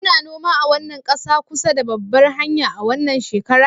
Kuna noma a wannan ƙasa kusa da babbar hanya a wannan shekara